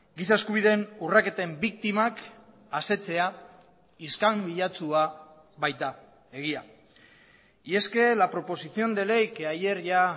giza eskubideen urraketen biktimak asetzea iskanbilatsua baita egia y es que la proposición de ley que ayer ya